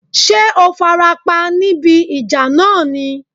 Ṣé o farapa níbi ìjà náà ni?